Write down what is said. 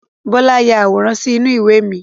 Bọlá ya àwòrán sì inú ìwé mi.